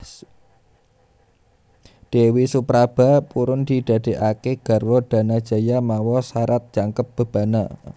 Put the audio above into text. Dewi Supraba purun didadékaké garwa Danajaya mawa sarat jangkep bebana